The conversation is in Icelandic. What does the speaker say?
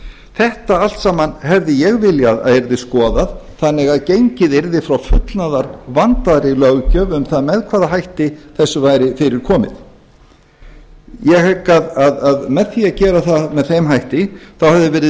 þetta allt saman hefði ég viljað að yrði skoðað þannig að gengið yrði frá fullnaðar vandaðri löggjöf um það með hvaða hætti þessu væri fyrir komið ég hygg að með því að gera það með þeim hætti hefði verið